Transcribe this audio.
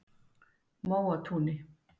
Móatúni